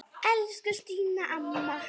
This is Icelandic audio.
Elsku Stína amma.